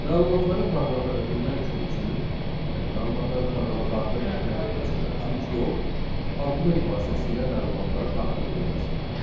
Məlumatları proqrama ötürmək üçün, yəni məlumatları proqrama daxil etmək üçün ikinci yol arqument vasitəsilə məlumatların daxil edilməsidir.